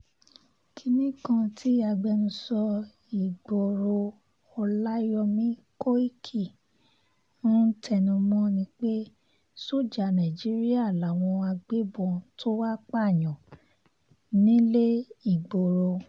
kinni kan tí agbẹnusọ ìgboro ọláyọ̀mí kọ́ìkì ń tẹnumọ́ ni pé sójà nàìjíríà làwọn agbébọ̀n tó wàá pààyàn nílé ìgboro